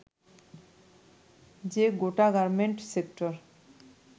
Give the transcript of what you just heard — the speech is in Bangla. যে গোটা গার্মেন্ট সেক্টর